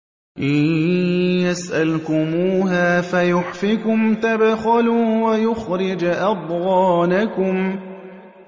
إِن يَسْأَلْكُمُوهَا فَيُحْفِكُمْ تَبْخَلُوا وَيُخْرِجْ أَضْغَانَكُمْ